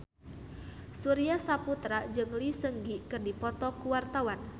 Surya Saputra jeung Lee Seung Gi keur dipoto ku wartawan